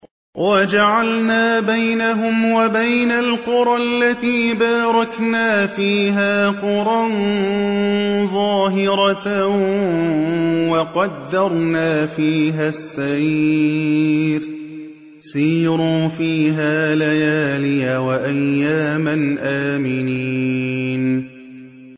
وَجَعَلْنَا بَيْنَهُمْ وَبَيْنَ الْقُرَى الَّتِي بَارَكْنَا فِيهَا قُرًى ظَاهِرَةً وَقَدَّرْنَا فِيهَا السَّيْرَ ۖ سِيرُوا فِيهَا لَيَالِيَ وَأَيَّامًا آمِنِينَ